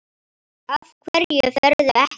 Af hverju ferðu ekki?